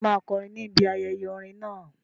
Ṣé o máa kọrin ní ibi ayẹyẹ orin náà?